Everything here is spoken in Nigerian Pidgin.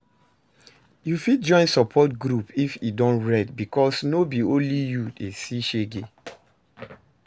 Yu fit join support group if e don red bikos no be only yu dey see shege